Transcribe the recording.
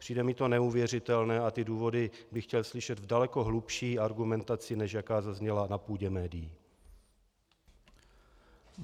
Přijde mi to neuvěřitelné a ty důvody bych chtěl slyšet v daleko hlubší argumentaci, než jaká zazněla na půdě médií.